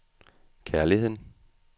kærligheden